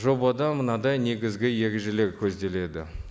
жобада мынадай негізгі ережелер көзделеді